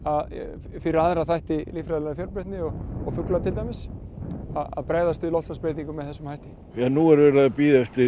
fyrir aðra þætti líffræðilegrar fjölbreytni og og fugla til dæmis að bregðast við loftslagsbreytingum með þessum hætti nú er verið að bíða eftir